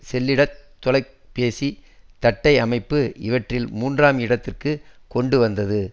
செல்லிடத் தொலை பேசி தட்டை அமைப்பு இவற்றில் மூன்றாம் இடத்திற்குக் கொண்டு வந்தது